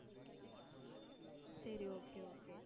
சரி okay okay